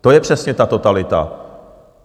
To je přesně ta totalita.